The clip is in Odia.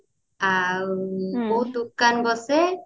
ଆଉ ବହୁତ ଦୋକାନ ବସେ